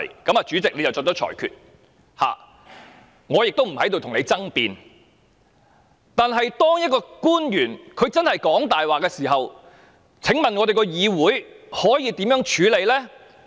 由於主席已就此作出裁決，我不會跟你爭辯，但當一名官員真的在說謊時，議會可以如何處理呢？